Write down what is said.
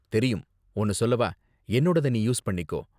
தெரியும்! ஒன்னு சொல்லவா என்னோடத நீ யூஸ் பண்ணிக்கோ.